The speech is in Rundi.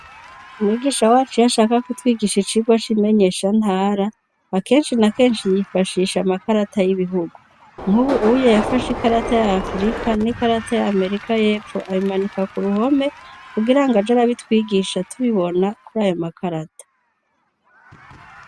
Umwigisha wacu iyo ashaka kutwigisha icigwa c'imenyeshantara, akenshi na kenshi yifashisha amakarata y'ibihugu. Nk'ubuye yafashe ikarata ya Afurika n'ikarata ya Amerika y'Epfo abimanika ku ruhome, kugira ngo aje arabitwigisha tubibona kuri ayo makarata.